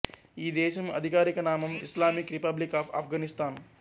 ఈ దేశం ఆధికారిక నామం ఇస్లామిక్ రిపబ్లిక్ ఆఫ్ ఆఫ్ఘనిస్తాన్